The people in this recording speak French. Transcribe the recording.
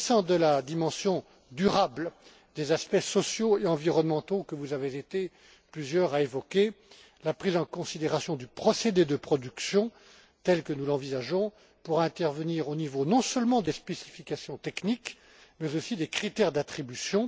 S'agissant de la dimension durable des aspects sociaux et environnementaux que vous avez été plusieurs à évoquer, la prise en considération du procédé de production, telle que nous l'envisageons, pourra intervenir au niveau non seulement des spécifications techniques mais aussi des critères d'attribution.